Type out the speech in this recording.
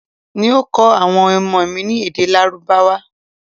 N ó kọ awọn ọmọ mi ní èdè lárábáwá